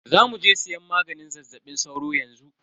Zamuje siyan maganin zazzaɓin sauro yanxu.